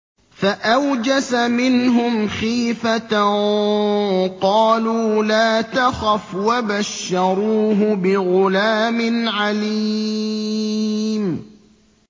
فَأَوْجَسَ مِنْهُمْ خِيفَةً ۖ قَالُوا لَا تَخَفْ ۖ وَبَشَّرُوهُ بِغُلَامٍ عَلِيمٍ